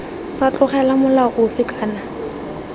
sa tlogelwa molao ofe kana